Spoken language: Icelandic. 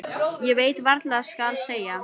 Ég veit varla hvað skal segja.